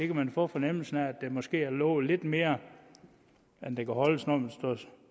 kan få fornemmelsen af at der måske er lovet lidt mere end der kan holdes når